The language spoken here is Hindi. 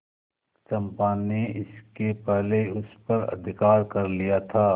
चंपा ने इसके पहले उस पर अधिकार कर लिया था